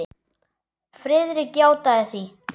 Friðrik játaði því.